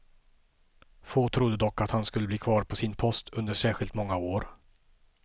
Få trodde dock att han skulle bli kvar på sin post under särskilt många år.